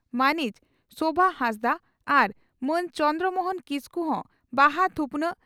ᱢᱟᱹᱱᱤᱡ ᱥᱳᱵᱷᱟᱦᱟᱸᱥᱫᱟᱜ ᱟᱨ ᱢᱟᱹᱱ ᱪᱚᱱᱫᱨᱚ ᱢᱚᱦᱚᱱ ᱠᱤᱥᱠᱩ ᱫᱚ ᱵᱟᱦᱟ ᱛᱷᱩᱯᱱᱟᱜ